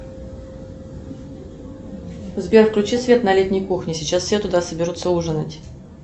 сбер включи свет на летней кухне сейчас все туда соберутся ужинать